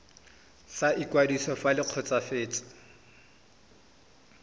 sa ikwadiso fa le kgotsofetse